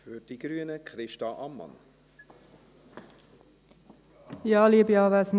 Ich bitte Sie, das Gleiche zu tun.